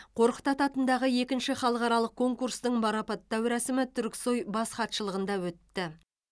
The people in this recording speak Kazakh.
қорқыт ата атындағы екінші халықаралық конкурстың марапаттау рәсімі түрксой бас хатшылығында өтті